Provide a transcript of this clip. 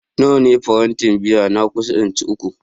Nawane farantin biyar na kusa inci uku